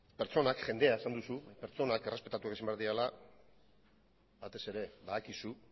pertsonak jendea esan duzu pertsonak errespetatuak izan behar direla batez ere badakizu